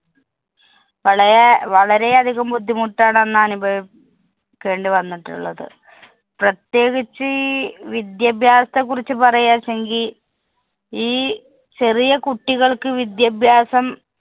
വളരെ~ വളരെയധികം ബുദ്ധിമുട്ടാണ് അന്നനുഭവി~ ക്കേണ്ടി വന്നിട്ടുള്ളത്. പ്രത്യേകിച്ച് ഈ വിദ്യാഭ്യാസത്തെക്കുറിച്ച് പറയാച്ചെങ്കില്‍ ഈ ചെറിയ കുട്ടികള്‍ക്ക് വിദ്യാഭ്യാസം